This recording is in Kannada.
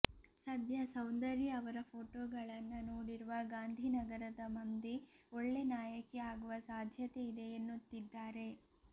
ಸದ್ಯ ಸೌಂದರ್ಯ ಅವರ ಫೋಟೋಗಳನ್ನ ನೋಡಿರುವ ಗಾಂಧಿನಗರದ ಮಂದಿ ಒಳ್ಳೆ ನಾಯಕಿ ಆಗುವ ಸಾಧ್ಯತೆ ಇದೆ ಎನ್ನುತ್ತಿದ್ದಾರೆ